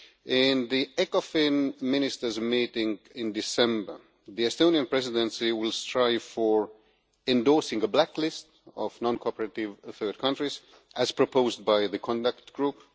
At the Ecofin Ministers meeting in December, the Estonian Presidency will strive for the endorsement of a blacklist of non cooperative third countries, as proposed by the Conduct Group.